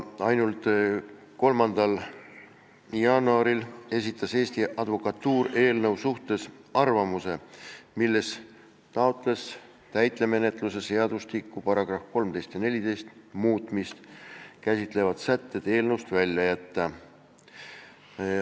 3. jaanuaril esitas Eesti Advokatuur eelnõu kohta arvamuse, milles palus täitemenetluse seadustiku § 13 ja 14 muutmist käsitlevad sätted eelnõust välja jätta.